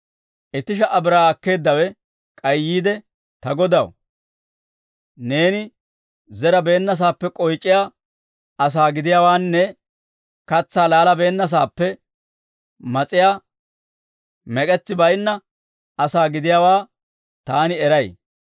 «Itti sha"a biraa akkeeddawe k'ay yiide, ‹Ta godaw, neeni zerabeennasaappe k'oyc'iyaa asaa gidiyaawaanne katsaa laalabeennasaappe mas'iyaa mek'etsi baynna asaa gidiyaawaa taani eray.